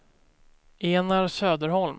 Enar Söderholm